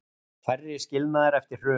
Færri skilnaðir eftir hrun